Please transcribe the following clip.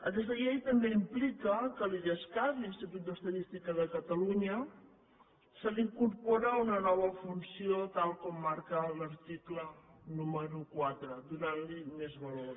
aquesta llei també implica que a l’idescat l’institut d’estadística de catalunya se li incorpora una nova funció tal com marca l’article número quatre que li dóna més valor